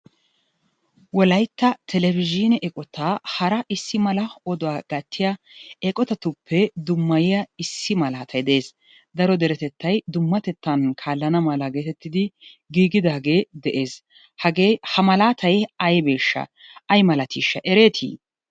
Wolaytta televizhiine eqotaa hara issi mala oduwa gattiya eqqotatuppe dummayiya issi malaatay de'ees. daro deretettay dummatettan kaalana mala geetettidi giigidaagee de'ees. Hagee ha malaatay aybeeshsha. ay malatiisha ereetii?